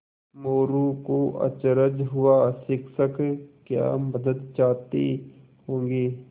मोरू को अचरज हुआ शिक्षक क्या मदद चाहते होंगे